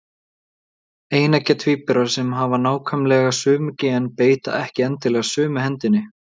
Eineggja tvíburar sem hafa nákvæmlega sömu gen beita ekki endilega sömu hendinni.